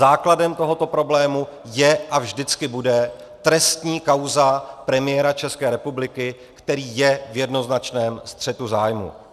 Základem tohoto problému je a vždycky bude trestní kauza premiéra České republiky, který je v jednoznačném střetu zájmů.